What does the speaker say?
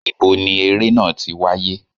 Ibo ni eré náà ti wáyé?